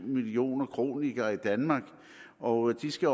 millioner kronikere i danmark og de skal